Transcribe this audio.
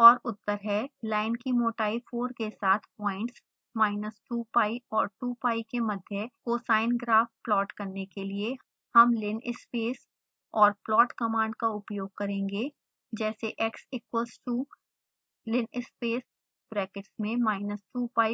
और उत्तर हैं लाइन की मोटाई 4 के साथ प्वाइंट्स minus 2pi और 2pi के मध्य cosine graph प्लॉट करने के लिए हम linspace और plot कमांड का उपयोग करेंगे जैसे x equals to linspace brackets में minus 2pi